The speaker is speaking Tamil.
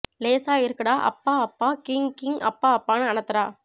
லேசா இருக்குடா அப்பா அப்பா கீங்க் கீங்க் அப்பா அப்பான்னு அனத்தறா